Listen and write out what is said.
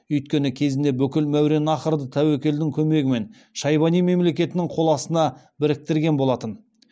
өйткені кезінде бүкіл мәуереннахрды тәуекелдің көмегімен шайбани мемлекетінің қол астына біріктірген болатын